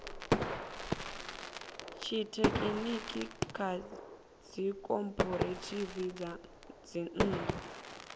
tshithekhiniki kha dzikhophorethivi dza dzinnḓu